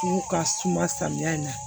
N'u ka suma samiya in na